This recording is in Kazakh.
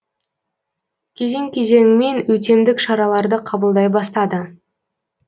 кезең кезеңімен өтемдік шараларды қабылдай бастады